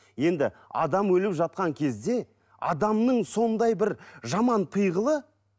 енді адам өліп жатқан кезде адамның сондай бір жаман пиғылы